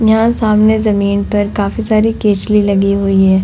यहाँ सामने जमीन पर काफी सारी केचुली लगी हुई है।